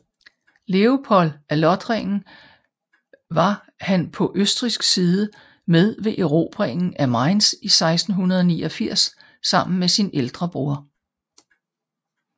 Leopold af Lothringen var han på østrigsk side med ved erobringen af Mainz 1689 sammen med sin ældste broder